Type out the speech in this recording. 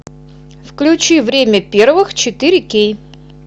включи время первых четыре кей